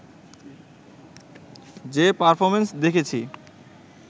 যে পারফর্মেন্স দেখেছি